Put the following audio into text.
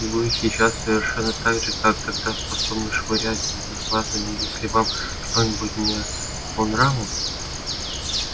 вы и сейчас совершенно так же как тогда способны швырять вазами если вам что-нибудь не по нраву